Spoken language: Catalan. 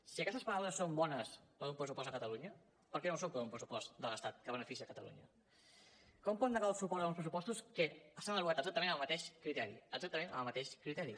si aquestes paraules són bones per un pressupost a catalunya per què no ho són per un pressupost de l’estat que beneficia catalunya com pot negar el suport a uns pressupostos que s’han elaborat exactament amb el mateix criteri exactament amb el mateix criteri